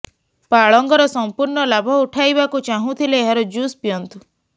ପାଳଙ୍ଗର ସଂପୂର୍ଣ୍ଣ ଲାଭ ଉଠାଇବାକୁ ଚାହୁଁଥିଲେ ଏହାର ଜୁସ୍ ପିଅନ୍ତୁ